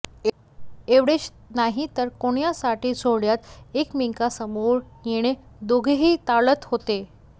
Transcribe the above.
एवढेच नाही तर कोणत्याही सोहळ्यात एकमेकांसमोर येणं दोघेही टाळत होते